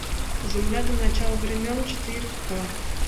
земля до начала времен четыре к